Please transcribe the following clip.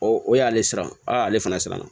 o y'ale siran a le fana siran na